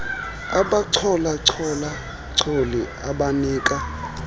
abachola choli abanika